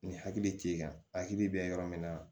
Ni hakili t'i kan hakili bɛ yɔrɔ min na